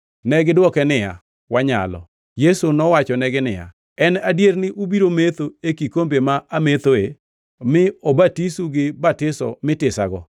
Negidwoke niya, “Wanyalo.” Yesu nowachonegi niya, “En adier ni ubiro metho e kikombe ma amethoe mi obatisu gi batiso mitisago,